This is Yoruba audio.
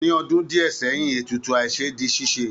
Ní ọdún díẹ̀ sẹ́yìn, ètùtù àìṣe di ṣíṣe